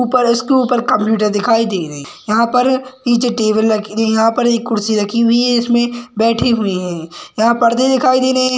ऊपर इसके ऊपर कंप्युटर दिखाई दे रहा हैं यहाँ पर पिछे टेबल रखी गई यहाँ पर एक कुर्सी रखी हुई है इसमे बैठे हुए हैं यहाँ पर्दे दिखाई दे रहे हैं।